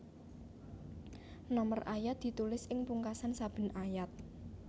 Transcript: Nomor ayat ditulis ing pungkasan saben ayat